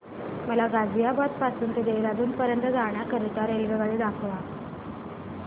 मला गाझियाबाद पासून ते देहराडून पर्यंत जाण्या करीता रेल्वेगाडी दाखवा